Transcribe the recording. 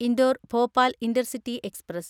Indore Bhopal intercity express